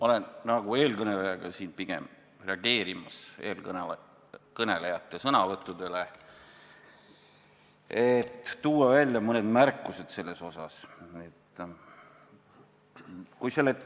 Olen nagu eelkõnelejagi siin pigem reageerimas eelkõnelejate sõnavõttudele, et teha mõned märkused nende kohta.